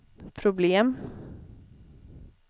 problem